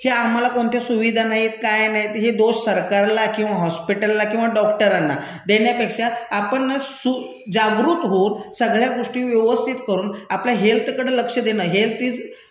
ह्या आम्हाला कोणत्या सुविधा नाहीत, काय नाहीत, हे दोष सरकारला किंवा हॉस्पिटलला किंवा डॉक्टरांना देण्यापेक्षा आपणच जागृत होऊन सगळ्या गोष्टी व्यवस्थीत करून आपल्या हेल्थकडं लक्ष देणं, हेल्थ इज,